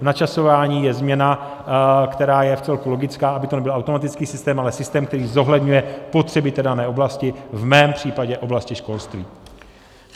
V načasování je změna, která je vcelku logická, aby to nebyl automatický systém, ale systém, který zohledňuje potřeby té dané oblasti, v mém případě oblasti školství.